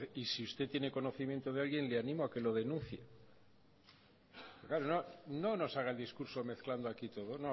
y si usted tiene conocimiento de alguien le animo a que lo denuncie no nos haga el discurso mezclando aquí todo